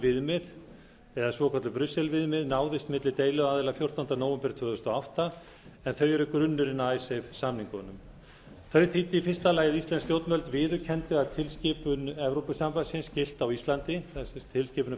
viðmið eða svokölluð brusselviðmið náðist milli deiluaðila fjórtánda nóvember tvö þúsund og átta en þau eru grunnurinn að samningunum þau þýddu í fyrsta lagi að íslensk stjórnvöld viðurkenndu að tilskipun evrópusambandsins gilti á íslandi tilskipunin frá nítján hundruð